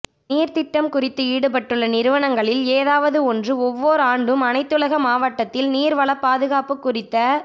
நீர்த் திட்டம் குறித்து ஈடுபட்டுள்ள நிறுவனங்களில் ஏதாவது ஒன்று ஒவ்வோர் ஆண்டும் அனைத்துலக மட்டத்தில் நீர் வளப் பாதுகாப்புக் குறித்த